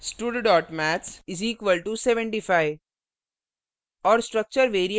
उदाहरण stud maths = 75;